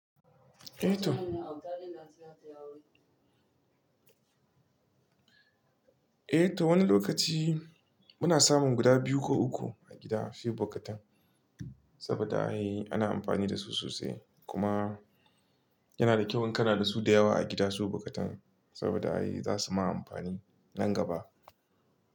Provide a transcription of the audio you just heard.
Eh to, eh to wani lokaci muna samun guda biyu ko uku a gida shi bokatan saboda ana amfani da su sosai kuma yana da kyau in kana da su da yawa a gida su bokatan saboda za su ma amfani nan gaba.